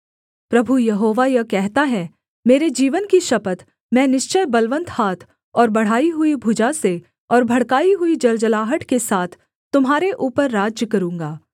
प्रभु यहोवा यह कहता है मेरे जीवन की शपथ मैं निश्चय बलवन्त हाथ और बढ़ाई हुई भुजा से और भड़काई हुई जलजलाहट के साथ तुम्हारे ऊपर राज्य करूँगा